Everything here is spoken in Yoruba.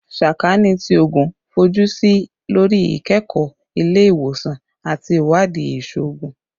Sakaani ti Oogun fojusi lori ikẹkọ ile-iwosan ati iwadii iṣoogun